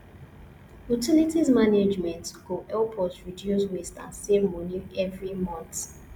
utilities management go help us reduce waste and save money every month